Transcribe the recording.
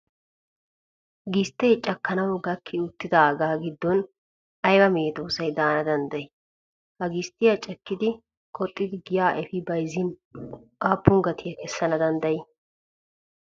Gisttee cakkanawu gakki uttidaagaa giddon ayiba medoossay daana danddayii? Ha gisttiyaa cakkidi qoxxidi giyaa Efi bayizzin aappun gatiyaa kessana danddayii?